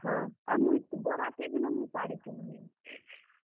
ହଁ, ଆଉ ମୁଇଁ ବରାତି ଦିନ ହିଁ ଶାଢୀ ପିନ୍ଧମି।